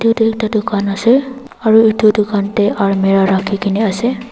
etu ekta tucan ase aro etu tucan dae almira raki kina ase.